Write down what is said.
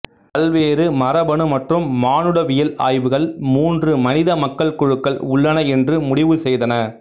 பல்வேறு மரபணு மற்றும் மானுடவியல் ஆய்வுகள் மூன்று மனித மக்கள் குழுக்கள் உள்ளன என்று முடிவு செய்தன